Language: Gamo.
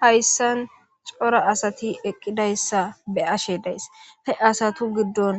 hayssan cora asati eqqidayssa be'ashe days he asatu giddon